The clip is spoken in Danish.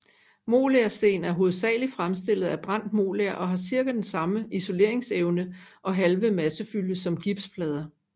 Molersten er hovedsageligt fremstillet af brændt moler og har cirka den samme isoleringsevne og halve massefylde som gipsplader